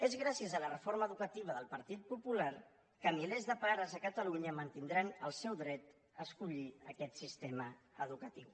és gràcies a la reforma educativa del partit popular que milers de pares a catalunya mantindran el seu dret a escollir aquest sistema educatiu